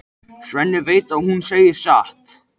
Svenni veit að hún segir satt.